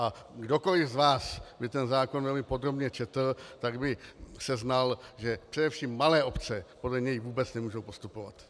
A kdokoli z vás by ten zákon velmi podrobně četl, tak by seznal, že především malé obce podle něj vůbec nemohou postupovat.